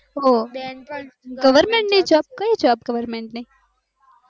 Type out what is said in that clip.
ઓછ goverment ની job કઇ jobgoverment ની